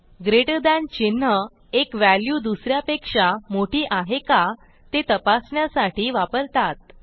greater than चिन्ह एक value दुस यापेक्षा मोठी आहे का ते तपासण्यासाठी वापरतात